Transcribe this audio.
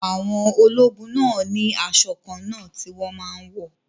Àwọn ológun náà ni asọ kànna ti wón máa n wọ̀